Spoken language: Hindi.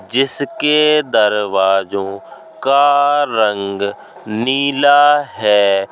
जिस के दरवाजों का रंग नीला है।